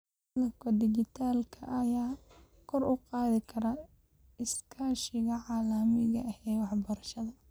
Qalabka dhijitaalka ah ayaa kor u qaadi kara iskaashiga caalamiga ah ee waxbarashada.